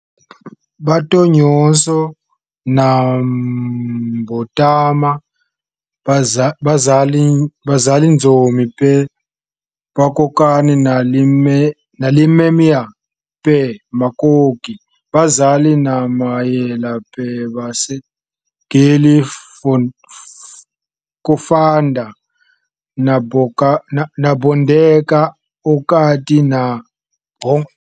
"Bato nyonso na mbotama bazali nzomi pe bakokani na limemya pe makoki. Bazali na mayele pe base, geli kofanda na bondeko okati na bango".